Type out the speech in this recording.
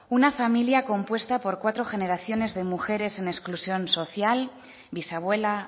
una familia compuesta por cuatro generaciones de mujeres en exclusión social bisabuela